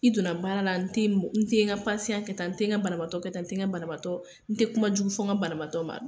I donna baara la n te n te n ka kɛ tan n te n ka banatɔ ka taa n banatɔ n tɛ kuma jugu fo n ka balatɔ ma